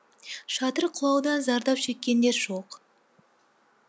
шатыр құлаудан зардап шеккендер жоқ